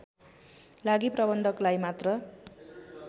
लागि प्रबन्धकलाई मात्र